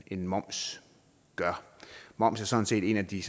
end moms gør moms er sådan set en af de